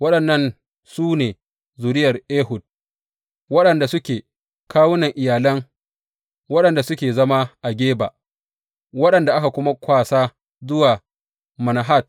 Waɗannan su ne zuriyar Ehud, waɗanda suke kawunan iyalan waɗanda suke zama a Geba waɗanda aka kuma kwasa zuwa Manahat.